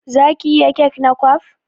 Zaki iya kek na kwaf?